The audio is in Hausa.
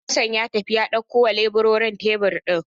Hassan ya tafi ya ɗaukowa leburorin tebir ɗin.